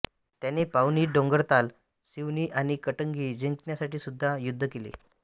त्याने पाउनी डोंगरताल सिवनी आणि कटंगी जिंकण्यासाठी सुद्धा युद्ध केले